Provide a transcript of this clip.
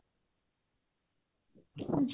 ଆଛା